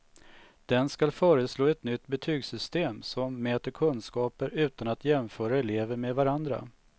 Den skall föreslå ett nytt betygssystem som mäter kunskaper utan att jämföra elever med varandra.